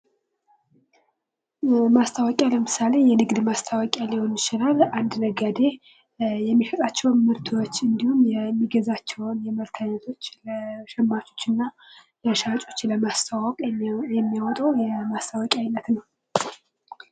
ማስትወቂያ ለምሣሌ የንግድ ማስታዎቂያ ሊሆን ይችላለ። አንድ ነጋዴ የሚሸጣቸውን ምርቶች እንዲሁም የሚገዛቸውን ምርቶች ለሸማቾች እና ለሻጮች ለማስተዋወቅ የሚያወጣው የማስታወቂያ አይነት ነው።